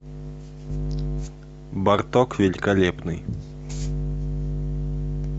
барток великолепный